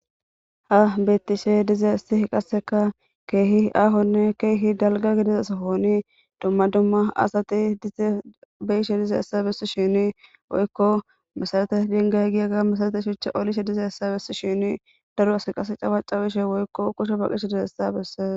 ha beettishe diza isti qasseka keehi aahonne keehi dalga gidiza sahooni dumma dumma asati beyishe diza essa bessi shini woykko masarate dingay giyaga masalate shuche olishe diza essa bessi shini daro as qasse cawacawishe woykko kusho baqishe dize essa besse